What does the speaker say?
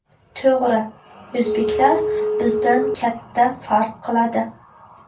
To‘g‘ri, o‘zbeklar bizdan katta farq qiladi.